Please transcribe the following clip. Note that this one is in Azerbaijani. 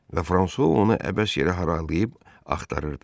Və Fransua onu əbəs yerə harayıyıb axtarırdı.